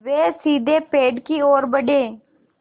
वे सीधे पेड़ की ओर बढ़े